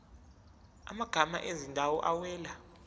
amagama ezindawo awela